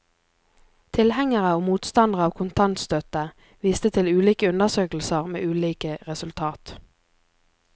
Tilhengere og motstandere av kontantstøtte viste til ulike undersøkelser med ulike resultat.